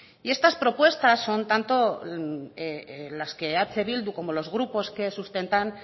y estas propuesta son tanto las que eh bildu como los grupos que sustentan